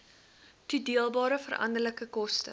toedeelbare veranderlike koste